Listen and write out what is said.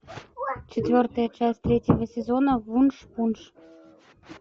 четвертая часть третьего сезона вуншпунш